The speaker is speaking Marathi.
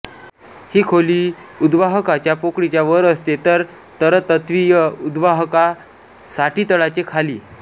ही खोली उद्वाहकाच्या पोकळीच्या वर असते तर तरलतत्विय उद्वाहका साठीतळाचे खाली